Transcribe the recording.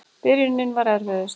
Byrjunin var erfiðust.